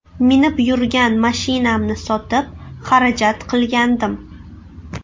Minib yurgan mashinamni sotib xarajat qilgandim.